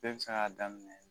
Bɛɛ bɛ se k'a daminɛ